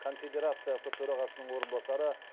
конфедерациясы төрағасының орынбасары